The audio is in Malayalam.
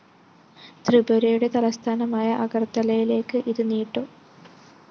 ത്രിപുരയുടെ തലസ്ഥാനമായ അഗര്‍ത്തലയിലേക്ക് ഇതുനീട്ടും